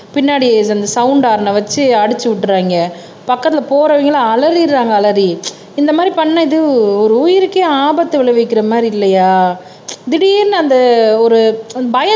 பின்னாடி இந்த சவுண்ட் ஹார்ன வச்சு அடிச்சு விட்டுறாங்க பக்கத்துல போறவங்க எல்லாம் அலறிடறாங்க அலறி இந்த மாதிரி பண்ணது ஒரு உயிருக்கே ஆபத்து விளைவிக்கிற மாதிரி இல்லையா திடீர்ன்னு அந்த ஒரு பயத்திலேயே